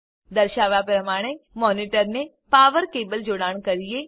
દર્શાવ્યા પ્રમાણે મોનિટરને પાવર કેબલ જોડાણ કરીએ